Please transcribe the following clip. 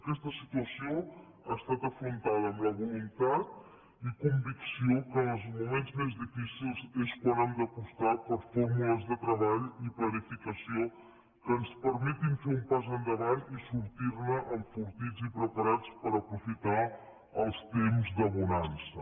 aquesta situació ha estat afrontada amb la voluntat i convicció que en els moments més difícils és quan hem d’apostar per fórmules de treball i planificació que ens permetin fer un pas endavant i sortir ne enfortits i preparats per aprofitar els temps de bonança